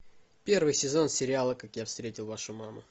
первый сезон сериала как я встретил вашу маму